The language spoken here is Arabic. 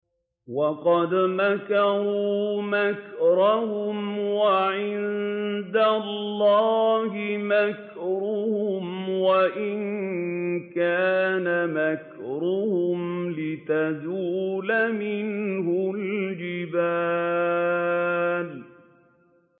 وَقَدْ مَكَرُوا مَكْرَهُمْ وَعِندَ اللَّهِ مَكْرُهُمْ وَإِن كَانَ مَكْرُهُمْ لِتَزُولَ مِنْهُ الْجِبَالُ